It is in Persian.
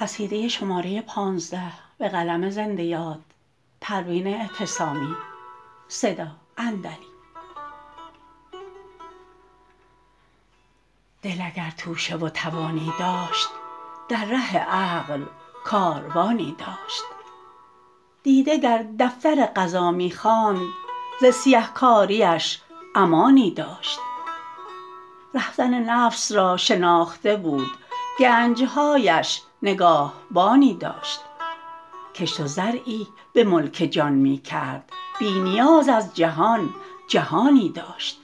دل اگر توشه و توانی داشت در ره عقل کاروانی داشت دیده گر دفتر قضا میخواند ز سیه کاریش امانی داشت رهزن نفس را شناخته بود گنجهایش نگاهبانی داشت کشت و زرعی به ملک جان میکرد بی نیاز از جهان جهانی داشت